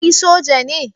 Kai Soja ne?